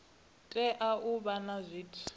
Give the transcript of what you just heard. tea u vha na zwithu